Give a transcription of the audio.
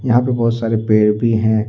यहां पे बहुत सारे पेड़ भी है।